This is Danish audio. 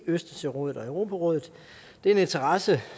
østersørådet og europarådet det er en interesse